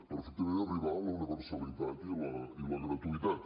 perfectament arribar a la universalitat i la gratuïtat